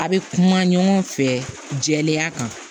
A' be kuma ɲɔgɔn fɛ jɛlenya kan